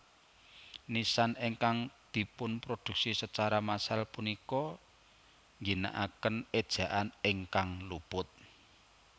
Nisan ingkang dipunproduksi secara massal punika ngginaaken ejaan ingkang luput